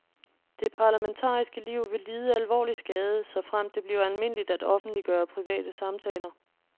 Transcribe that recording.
Det parlamentariske liv vil lide alvorlig skade, såfremt det bliver almindeligt at offentliggøre private samtaler.